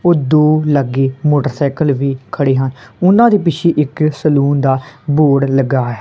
ਉਹ ਦੋ ਲੱਗੇ ਮੋਟਰਸਾਈਕਲ ਵੀ ਖੜੇ ਹਨ ਉਹਨਾਂ ਦੇ ਪਿੱਛੇ ਇੱਕ ਸੈਲੂਨ ਦਾ ਬੋਰਡ ਲੱਗਾ ਐ।